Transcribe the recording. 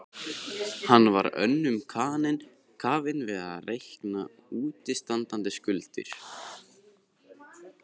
Hann var of önnum kafinn við að reikna útistandandi skuldir.